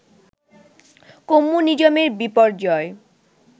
কম্যুনিজমের বিপর্যয়